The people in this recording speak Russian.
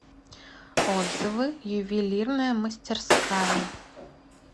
отзывы ювелирная мастерская